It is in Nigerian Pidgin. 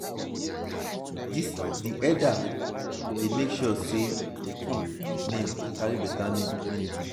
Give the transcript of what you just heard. di eldas dey make sure sey pikin name carry beta meaning.